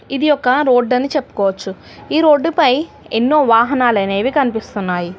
ఇది ఒక రోడ్డు అని చెప్పుకోవచ్చు ఈ రోడ్డుపై ఎన్నో వాహనాలనేవి కనిపిస్తున్నాయి.